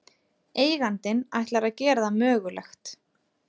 Eigandinn ætlar að gera það mögulegt